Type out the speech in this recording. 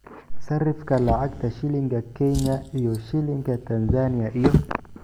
sarifka lacagta shilinka Kenya iyo shilinka Tanzania iyo